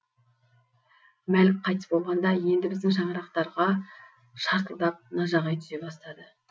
мәлік қайтыс болғанда енді біздің шаңырақтарға шартылдап нажағай түсе бастады